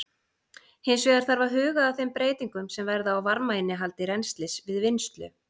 Hins vegar þarf að huga að þeim breytingum sem verða á varmainnihaldi rennslis við vinnslu.